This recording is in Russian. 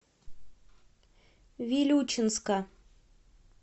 вилючинска